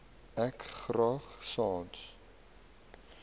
ek graag sans